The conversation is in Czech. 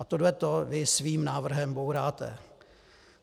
A tohle to vy svým návrhem bouráte.